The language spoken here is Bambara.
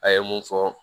A ye mun fɔ